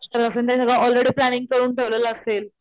त्यांनी जर already planning करून ठेवलेला असेल,